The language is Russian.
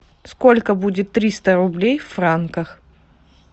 сколько будет триста рублей в франках